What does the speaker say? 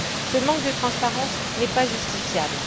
Ce manque de transparence n'est pas justifiable.